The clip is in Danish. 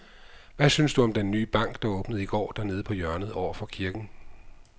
Hvad synes du om den nye bank, der åbnede i går dernede på hjørnet over for kirken?